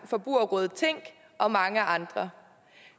forbrugerrådet tænk og mange andre